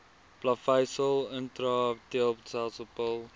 plaveisel intraepiteelletsel pil